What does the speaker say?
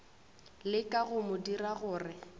leka go mo dira gore